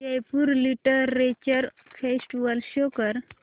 Jaipur literature festival show कर